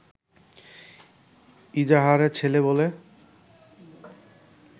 ইজাহারের ছেলে বলে